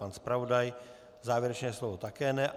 Pan zpravodaj závěrečné slovo také ne.